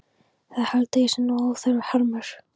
Það held ég sé nú óþarfur harmur.